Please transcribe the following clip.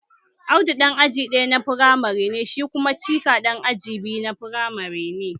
Audu ɗan aji ɗaya na firamare ne shi kuma Chika ɗan aji biyu na firamare ne